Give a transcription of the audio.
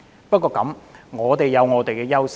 不過，香港有本身的優勢。